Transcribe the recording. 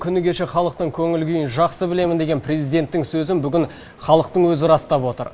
күні кеше халықтың көңіл күйін жақсы білемін деген президенттің сөзін бүгін халықтың өзі растап отыр